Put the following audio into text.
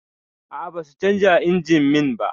A'a, ba su canja injimin ba